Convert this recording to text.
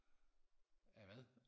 hvad